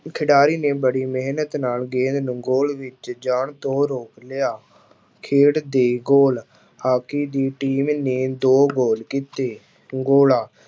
ਖਿਡਾਰੀ ਨੇ ਬੜੀ ਮਿਹਨਤ ਨਾਲ ਗੇਂਦ ਨੂੰ ਗੋਲ ਵਿੱਚ ਜਾਣ ਤੋਂ ਰੋਕ ਲਿਆ, ਖੇਡ ਦੇ ਗੋਲ ਹਾਕੀ ਦੀ team ਨੇ ਦੋ ਗੋਲ ਕੀਤੇ, ਗੋਲਾ